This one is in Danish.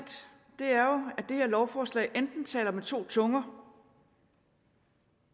det her lovforslag enten taler med to tunger